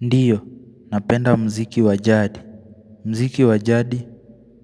Ndio, napenda muziki wa jadi muziki wa jadi